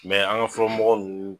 Mɛ an ga fɔlɔ mɔgɔ nunnu